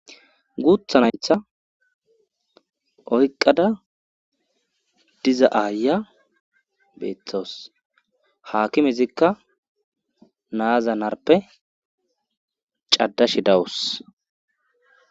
guuthanaytha oyqqada diza aaya beeththawus haakimezikka na7aza narpe caddashe dawus